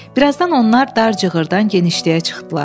Bir azdan onlar dar cığırdan genişliyə çıxdılar.